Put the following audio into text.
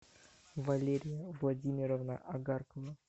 валерия владимировна огаркова